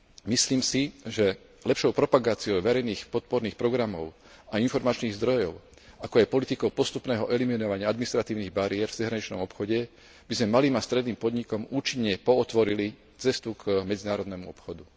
Myslím si, že lepšou propagáciou verejných podporných programov a informačných zdrojov, ako je politika postupného eliminovania administratívnych bariér v zahraničnom obchode, by sme stredným podnikom účinne pootvorili cestu k medzinárodnému obchodu.